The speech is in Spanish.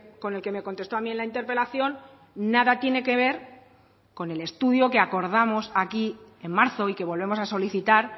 con el que me contestó a mí en la interpelación nada tiene que ver con el estudio que acordamos aquí en marzo y que volvemos a solicitar